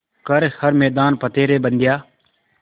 कर हर मैदान फ़तेह रे बंदेया